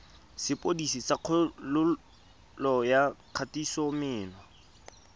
sepodisi sa kgololo ya kgatisomenwa